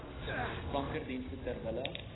kankerdienste ter wille